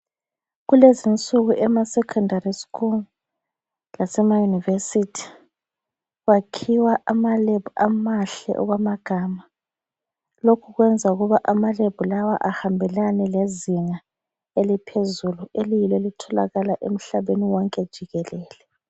Kulezinsuku emaSecondary school lasema University kwakhiwa ama lab amahle okwamagama . Lokhu kuyenza ukuba amalab lawo ahambelane lezinga eliphezulu eliyilo elitholakala emhlabeni wonke jikelele.